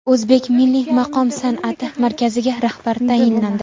O‘zbek milliy maqom san’ati markaziga rahbar tayinlandi.